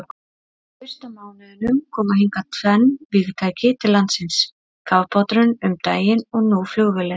Á fyrsta mánuðinum koma hingað tvenn vígtæki til landsins, kafbáturinn um daginn og nú flugvélin.